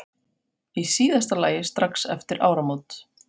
Í síðasta lagi strax eftir áramót.